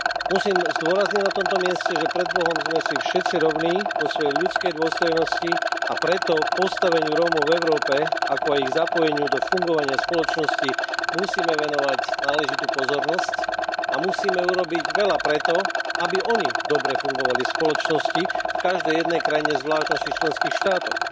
Musím zdôrazniť na tomto mieste, že pred Bohom sme si všetci rovní vo svojej ľudskej dôstojnosti, a preto postaveniu Rómov v Európe, ako aj ich zapojeniu do fungovania spoločnosti, musíme venovať náležitú pozornosť a musíme urobiť veľa preto, aby oni dobre fungovali v spoločnosti v každej jednej krajine, zvlášť v našich členských štátoch.